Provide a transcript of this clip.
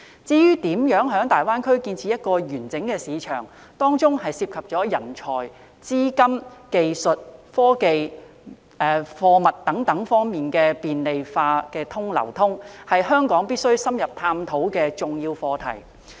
至於如何在大灣區建立一個完整的市場，當中涉及人才、資金、技術、科技、貨物等方面的便利化流通，是香港必須深入探討的重要課題。